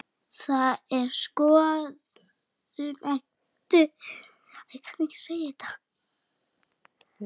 Það er skoðun Eddu.